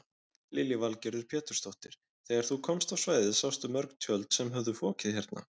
Lillý Valgerður Pétursdóttir: Þegar þú komst á svæðið sástu mörg tjöld sem höfðu fokið hérna?